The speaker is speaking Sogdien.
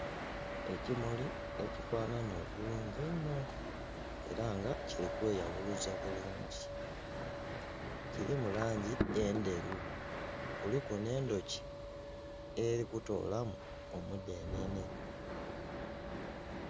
Ekimuli ekifanhanha obulungi einho era nga kiri kweyabuluza bulungi kirimu langi endheru kuliku n'endhuki eri kutoolamu omudhenhenhe.